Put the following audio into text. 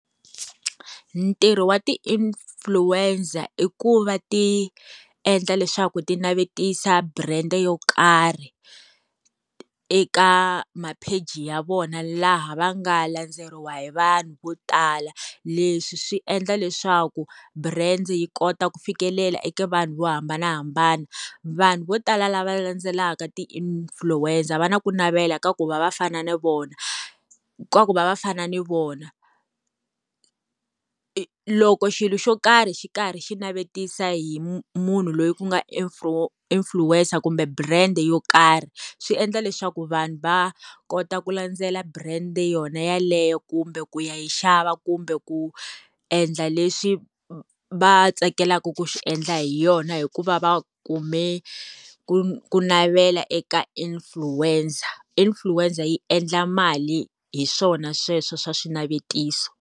Ntirho wa ti-influencer i ku va ti endla leswaku ti navetisa brand yo karhi eka mapheji ya vona laha va nga landzeriwa hi vanhu vo tala. Leswi swi endla leswaku brand yi kota ku fikelela eka vanhu vo hambanahambana. Vanhu vo tala lava landzelaka ti-influencer va na ku navela ka ku va va fana na vona, ka ku va va fana ni vona. Loko xilo xo karhi xi karhi xi navetisa hi munhu loyi ku nga influencer kumbe brand yo karhi, swi endla leswaku vanhu va kota ku landzela brand yona yeleyo kumbe ku ya yi xava kumbe ku endla leswi va tsakelaka ku swi endla hi yona, hikuva va kume ku ku navela eka influencer. Influencer yi endla mali hi swona sweswo swa swinavetiso.